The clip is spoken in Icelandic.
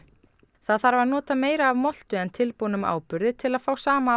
það þarf að nota meira af moltu en tilbúnum áburði til að fá sama